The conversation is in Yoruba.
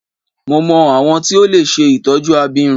Mo mọ awọn tí o lè ṣe itọju abirùn.